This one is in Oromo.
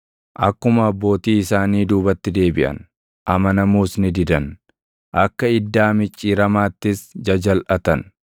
Akkuma abbootii isaanii duubatti deebiʼan; amanamuus ni didan; akka iddaa micciiramaattis jajalʼatan.